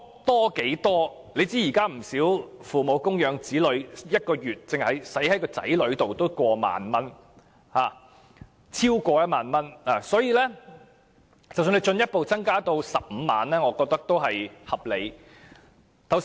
大家也知道，現時父母花在子女身上的開支，每月動輒超過1萬元，所以將子女免稅額進一步增加至15萬元也是合理的。